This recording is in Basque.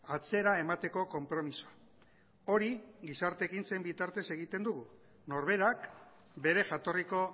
atzera emateko konpromisoa hori gizarte ekintzen bitartez egiten dugu norberak bere jatorriko